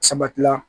Sabati la